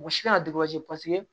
Mɔgɔ si kana paseke